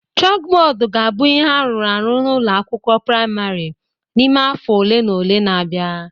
Chalkboard ga-abụ ihe arụrụ arụ n'ụlọ akwụkwọ praịmarị n'ime afọ ole na ole na-abịa